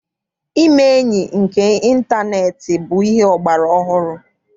Ime enyi nke ịntaneetị bụ ihe ọgbara ọhụrụ.